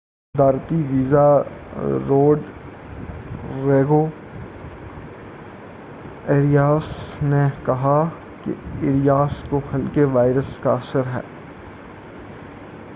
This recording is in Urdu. صدارتی وزیر روڈریگو ایریاس نے کہا کہ ایریاس کو ہلکے وائرس کا اثر ہے